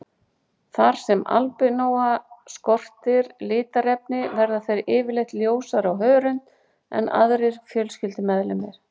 Þar sem albínóa skortir litarefni verða þeir yfirleitt ljósari á hörund en aðrir fjölskyldumeðlimir.